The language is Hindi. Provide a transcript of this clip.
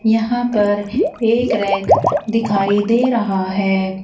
यहां पर एक रैक दिखाई दे रहा है।